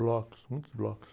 Blocos, muitos blocos.